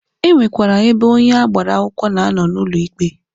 E nwekwara ebe onye agbara akwụkwọ na-anọ n'ụlọ ikpe.